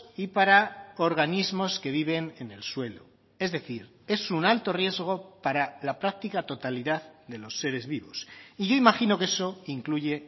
y para organismos que viven en el suelo es decir es un alto riesgo para la práctica totalidad de los seres vivos y yo imagino que eso incluye